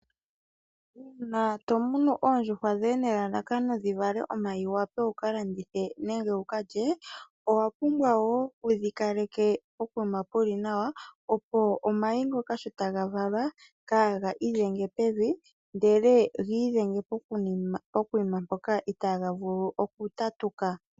Uuna to munu oondjuhwa dhoye nelalakano dhi vale omayi wu wape wukalandithe nenge kalye owa pumbwa wo wudhukaleke pokuma puli nawa opo omayi ngoka sho taga valwa kaaga idhenge ndele nagiidhenge ponima mpoka itaa ga vulu okutatuka.